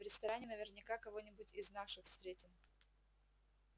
в ресторане наверняка кого нибудь из наших встретим